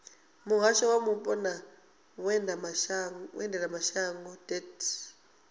muhasho wa mupo na vhuendelamashango deat